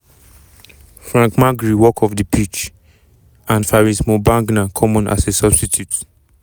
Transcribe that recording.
frank magri walk off di pitch and faris moumbagna come on as a substitute.